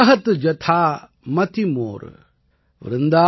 कहत जथा मति मोर |